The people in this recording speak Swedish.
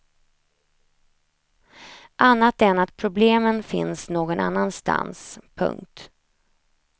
Annat än att problemen finns någon annanstans. punkt